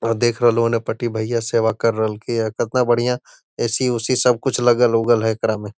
वहां देख रहलो ने पटी भैया सेवा कर रहलके या कतना बढ़िया ए.सी. उसी सब कुछ लगल-उगल है एकरा में।